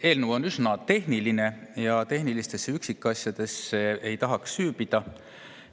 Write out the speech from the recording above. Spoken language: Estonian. Eelnõu on üsna tehniline ja tehnilistesse üksikasjadesse ei tahaks süüvida.